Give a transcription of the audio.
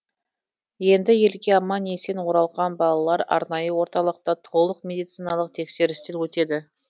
енді елге аман есен оралған балалар арнайы орталықта толық медициналық тексерістен өтеді